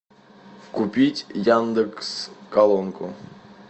купить яндекс колонку